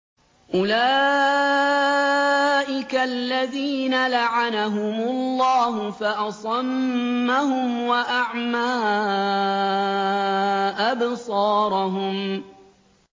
أُولَٰئِكَ الَّذِينَ لَعَنَهُمُ اللَّهُ فَأَصَمَّهُمْ وَأَعْمَىٰ أَبْصَارَهُمْ